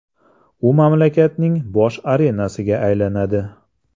U mamlakatning bosh arenasiga aylanadi.